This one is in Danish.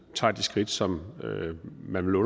tager de skridt som man med